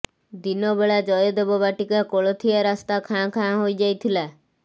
ଦିନବେଳା ଜୟଦେବ ବାଟିକା କୋଳଥିଆ ରାସ୍ତା ଖାଁ ଖାଁ ହୋଇଯାଇଥିଲା